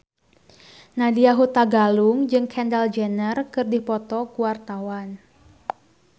Nadya Hutagalung jeung Kendall Jenner keur dipoto ku wartawan